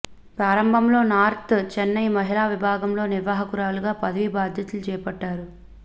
ప్రారంభంలో నార్త్ చెన్నై మహిళా విభాగంలో నిర్వాహకురాలిగా పదవీ బాధ్యతలు చేపట్టారు